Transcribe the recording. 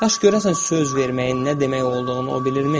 Yaxşı, görəsən söz verməyin nə demək olduğunu o bilirmi?